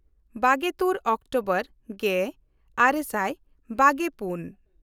ᱵᱟᱜᱮᱼᱛᱩᱨ October ᱜᱮᱼᱟᱨᱮ ᱥᱟᱭ ᱵᱟᱜᱮᱼᱯᱩᱱ